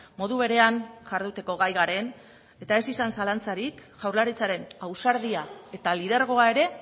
modu berean jarduteko gai garen eta ez izan zalantzarik jaurlaritzaren ausardia eta lidergoa ere